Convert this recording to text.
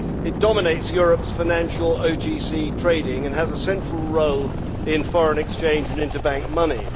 It dominates Europe's financial OTC trading and has a central role in foreign exchange and interbank money.